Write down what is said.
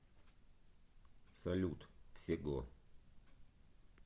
салют всего